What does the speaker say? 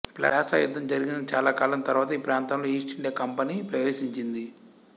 ప్లాసా యుద్ధం జరిగిన చాలాకాలం తరువాత ఈ ప్రాంతంలో ఈస్టిండియా కంపనీ ప్రవేశించింది